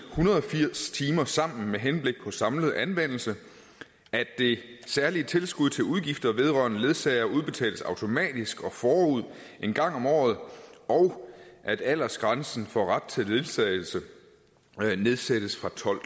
hundrede og firs timer sammen med henblik på samlet anvendelse at det særlige tilskud til udgifter vedrørende ledsager udbetales automatisk og forud en gang om året og at aldersgrænsen for ret til ledsagelse nedsættes fra tolv